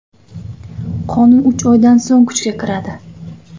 Qonun uch oydan so‘ng kuchga kiradi.